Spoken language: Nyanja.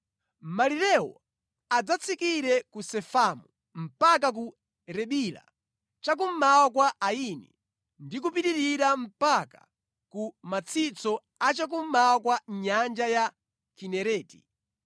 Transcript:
Malirewo adzatsikire ku Sefamu mpaka ku Ribila cha kummawa kwa Aini ndi kupitirira mpaka ku matsitso a cha kummawa kwa Nyanja ya Kinereti.